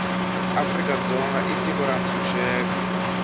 afrika dzonga i tiko ra ntshuxeko